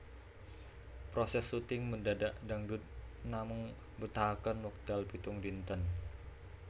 Proses shooting Mendadak Dangdut namung mbetahaken wekdal pitung dinten